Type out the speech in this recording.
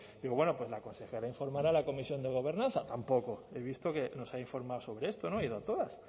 digo bueno pues la consejera informará a la comisión de gobernanza tampoco he visto que no se ha informado sobre esto no he ido a todas